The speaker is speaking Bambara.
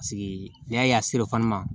Paseke n'i y'a ye a ma